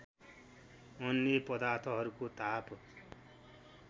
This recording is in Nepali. अन्य पदार्थहरूको ताप